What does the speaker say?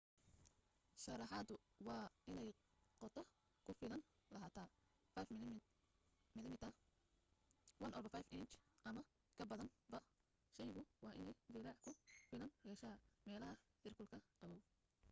sharaxaadu waa inay qoto ku filan lahaataa 5 mm 1/5 inji ama ka badanba shaygu waa inay jileec ku filan yeeshaa meelah heerkulka qaboow